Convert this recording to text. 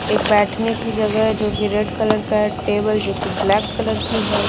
एक बैठने की जगह जोकि रेड कलर का है टेबल जोकि ब्लैक कलर की है।